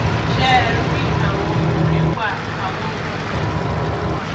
ṣé ẹ rí i àwọn ọkùnrin wa àwọn ọkùnrin sì tún wà